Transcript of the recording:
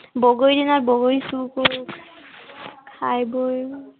বগৰীৰ দিনত বগৰী চোৰ কৰো। খাই বৈ